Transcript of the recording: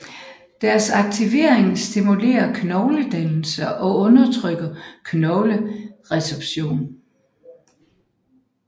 Deres aktivering stimulerer knogledannelse og undertrykker knogleresorption